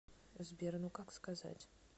сбер ну как сказать